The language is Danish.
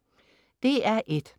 DR1: